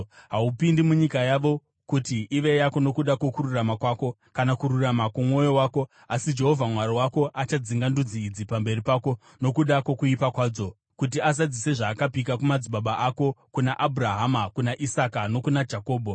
Haupindi munyika yavo kuti ive yako nokuda kwokururama kwako kana kururama kwomwoyo wako; asi Jehovha Mwari wako achadzinga ndudzi idzi pamberi pako, nokuda kwokuipa kwadzo, kuti azadzise zvaakapika kumadzibaba ako, kuna Abhurahama, kuna Isaka, nokuna Jakobho.